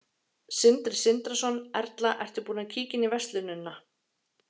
Sindri Sindrason: Erla, ertu búin að kíkja inn í verslunina?